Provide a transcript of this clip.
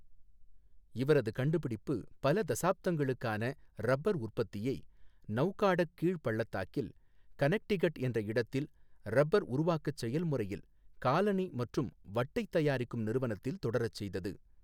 இவரது கண்டுபிடிப்பு பல தசாப்தங்களுக்கான இரப்பர் உற்பத்தியை நௌகாடக் கீழ் பள்ளத்தாக்கில் கனெக்டிகட் என்ற இடத்தில் இரப்பர் உருவாக்கச் செயல்முறையில் காலணி மற்றும் வட்டை தயாரிக்கும் நிறுவனத்தில் தொடரச்செய்தது.